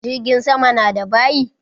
Jirgin sama na da bayi?